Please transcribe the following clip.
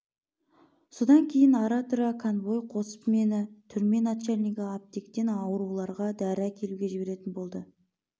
содан кейін ара-тұра конвой қосып мені түрме начальнигі аптектен ауруларға дәрі әкелуге жіберетін болды